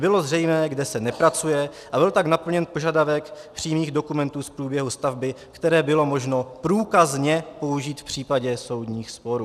Bylo zřejmé, kde se nepracuje, a byl tak naplněn požadavek přímých dokumentů z průběhu stavby, které bylo možno průkazně použít v případě soudních sporů.